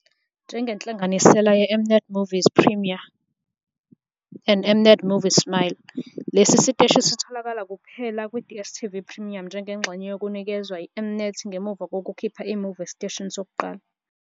Njengenhlanganisela yeM-Net Movies Premiere and M-Net Movies Smile, lesi siteshi sitholakala kuphela kwi-DStv Premium njengengxenye yokunikezwa yi-M-Net ngemuva kokukhipha i-movie esiteshini sokuqala.